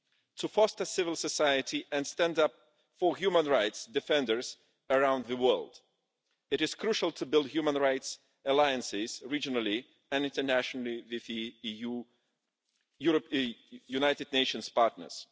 To foster civil society and stand up for human rights defenders around the world, it is crucial to build human rights alliances regionally and internationally with our United Nations partners.